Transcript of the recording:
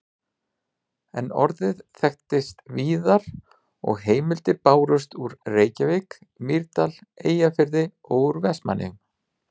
En orðið þekktist víðar og heimildir bárust úr Reykjavík, Mýrdal, Eyjafirði og úr Vestmannaeyjum.